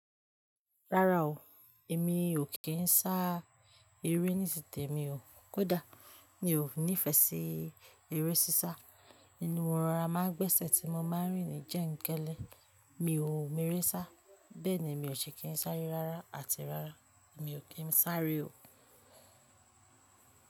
Rárá o, èmi ò kí ń sá eré níti tèmi o. Kódà mi ò nífẹsí eré sísá. Ìnú, mo rora máa ń gbẹ́sẹ̀ tí mo máa ń rìn ní Jẹ́ńkélẹ̀, mi ò mọ eré sá. Bẹ́ẹ̀ ni mi ò ṣe kí ń sáré rárá, àti rárá mi ò kí ń sáré o.